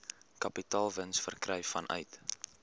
kapitaalwins verkry vanuit